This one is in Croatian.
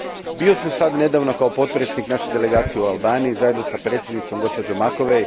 Bio sam sad nedavno kao potpredsjednik naše delegacije u Albaniji zajedno s predsjednicom, gospođom Macovei.